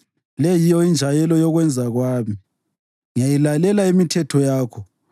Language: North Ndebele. Le yiyo injayelo yokwenza kwami: Ngiyayilalela imithetho yakho.